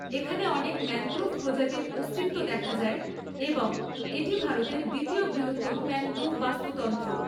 এখানে অনেক ম্যানগ্রোভ প্রজাতির অস্তিত্ব দেখা যায় এবং এটি ভারতের দ্বিতীয় বৃহত্তম ম্যানগ্রোভ বাস্তুতন্ত্র।